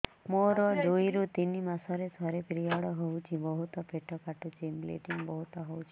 ମୋର ଦୁଇରୁ ତିନି ମାସରେ ଥରେ ପିରିଅଡ଼ ହଉଛି ବହୁତ ପେଟ କାଟୁଛି ବ୍ଲିଡ଼ିଙ୍ଗ ବହୁତ ହଉଛି